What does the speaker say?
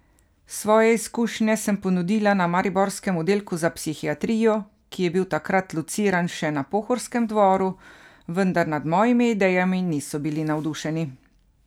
Svoje izkušnje sem ponudila na mariborskem oddelku za psihiatrijo, ki je bil takrat lociran še na Pohorskem dvoru, vendar nad mojimi idejami niso bili navdušeni.